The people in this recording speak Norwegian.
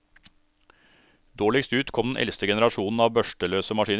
Dårligst ut kom den eldste generasjonen av børsteløse maskiner.